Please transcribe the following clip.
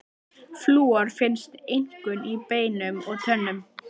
Flúor finnst einkum í beinum og tönnum.